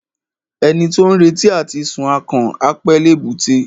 Ẹni tí ó ń retí àti sun akàn, á pẹ́ l'èbúté.